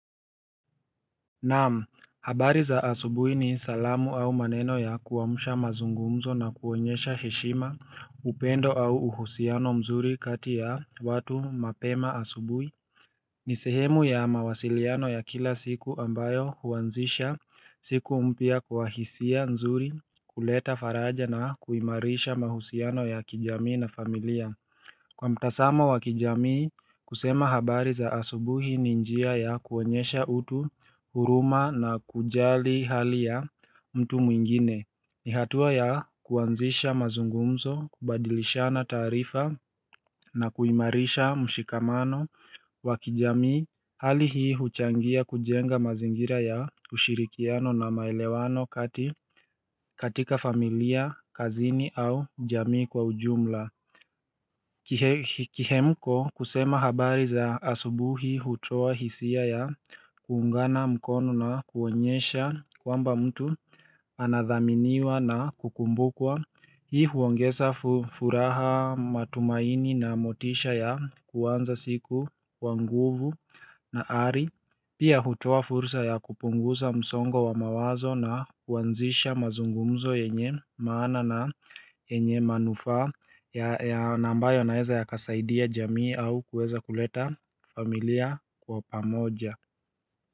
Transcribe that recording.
Naam, habari za asubuhi ni salamu au maneno ya kuamsha mazungumzo na kuonyesha heshima, upendo au uhusiano mzuri kati ya watu mapema asubuhi. Ni sehemu ya mawasiliano ya kila siku ambayo huanzisha siku mpya kwa hisia nzuri kuleta faraja na kuimarisha mahusiano ya kijamii na familia. Kwa mtazamo wa kijamii, kusema habari za asubuhi ni njia ya kuonyesha utu huruma na kujali hali ya mtu mwingine ni hatua ya kuanzisha mazungumzo, kubadilishana taarifa na kuimarisha mshikamano wa kijamii hali hii huchangia kujenga mazingira ya ushirikiano na maelewano katika familia, kazini au jamii kwa ujumla Kihemko kusema habari za asubuhi hutoa hisia ya kuungana mkono na kuonyesha kwamba mtu anadhaminiwa na kukumbukwa Hii huongeza furaha matumaini na motisha ya kuanza siku kwa nguvu na ari Pia hutoa furusa ya kupunguza msongo wa mawazo na kuanzisha mazungumzo yenye maana na yenye manufa ya na ambayo yanaeza yakasaidia jamii au kuweza kuleta familia kwa pamoja.